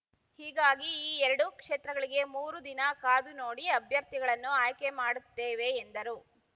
ಹೀಗಾಗಿ ಈ ಎರಡು ಕ್ಷೇತ್ರಗಳಿಗೆ ಮೂರು ದಿನ ಕಾದು ನೋಡಿ ಅಭ್ಯರ್ಥಿಗಳನ್ನು ಆಯ್ಕೆ ಮಾಡುತ್ತೇವೆ ಎಂದರು